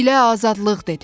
milə azadlıq dedim.